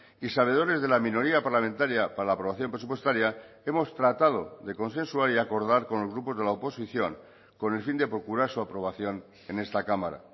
y sabedores de la minoría parlamentaria para la aprobación presupuestaria hemos tratado de consensuar y acordar con los grupos de la oposición con el fin de procurar su aprobación en esta cámara